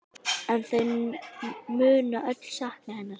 En þau munu öll sakna hennar.